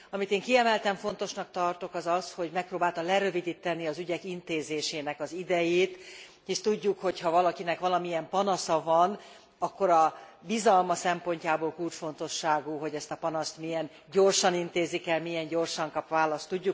Amit én kiemelten fontosnak tartok az az, hogy megpróbálta lerövidíteni az ügyek intézésének az idejét, hisz tudjuk, hogyha valakinek valamilyen panasza van, akkor a bizalma szempontjából kulcsfontosságú, hogy ezt a panaszt milyen gyorsan intézik el, milyen gyorsan kap választ.